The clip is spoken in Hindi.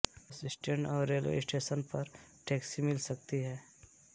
बस स्टैंड और रेलवे स्टेशन पर टैक्सी मिल सकती है